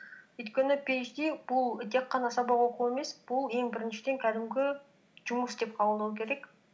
өйткені пиэйчди бұл тек қана сабақ оқу емес бұл ең біріншіден кәдімгі жұмыс деп қабылдау керек